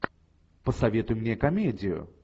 посоветуй мне комедию